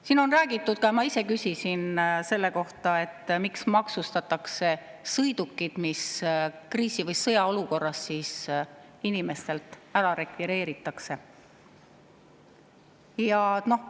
Siin on räägitud ka, ma ise küsisin selle kohta, miks maksustatakse sõidukid, mis kriisi‑ või sõjaolukorras inimestelt rekvireeritakse.